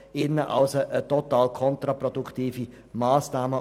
Aus Walliser Sicht ist dies also eine total kontraproduktive Massnahme.